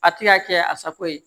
A ti ka kɛ a sako ye